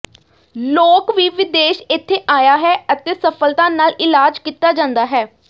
ਲੋਕ ਵੀ ਵਿਦੇਸ਼ ਇੱਥੇ ਆਇਆ ਹੈ ਅਤੇ ਸਫਲਤਾ ਨਾਲ ਇਲਾਜ ਕੀਤਾ ਜਾਦਾ ਹੈ